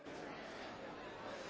Kolejnym punktem